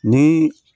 Ni